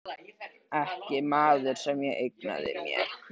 Ekki maður sem ég eignaði mér.